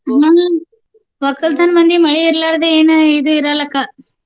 ಹ್ಮ ವಕ್ಕಲ್ತನ ಮಂದಿಗೆ ಮಳಿ ಇರ್ಲಾರ್ದೆ ಏನ ಇದ ಇರಲ್ಲಾ ಅಕ್ಕ.